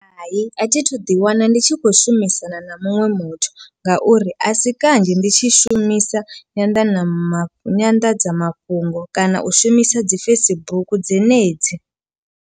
Hai, a thi thu ḓi wana ndi tshi khou shumisana na muṅwe muthu ngauri a si kanzhi ndi tshi shumisa nyanḓanama nyanḓadzamafhungo kana u shumisa dzi Facebook dzenedzi.